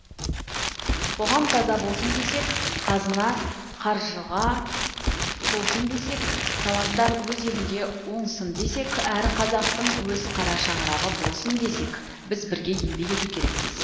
қоғам таза болсын десек қазына қаржыға толсын десек таланттар өз елінде оңсын десек әр қазақтың өз қара шаңырағы болсын десек біз бірге еңбек ету керекпіз